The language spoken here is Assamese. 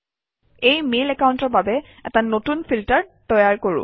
এই মেইল একাউণ্টৰ বাবে এটা নতুন ফিল্টাৰ তৈয়াৰ কৰোঁ আহক